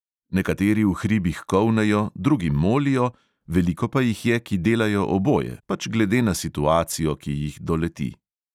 Nekateri v hribih kolnejo, drugi molijo, veliko pa jih je, ki delajo oboje, pač glede na situacijo, ki jih doleti …